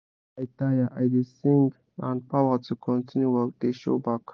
when i taya i da sing and power to continue work da show back